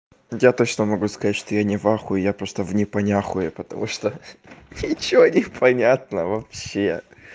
я точно могу сказать что я не в охуе я просто в непонятхуе потому что ничего непонятно вообще